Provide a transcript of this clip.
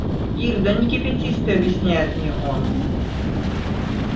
ир да не кипятись ты объясняет мне он